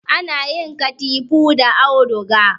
Ana yin katifu da auduga